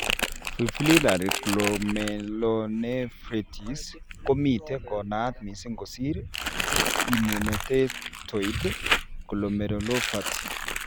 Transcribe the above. Fibrillary glomeurlonephritis komite konaat mising kosir immunotactoid glomerulopathy.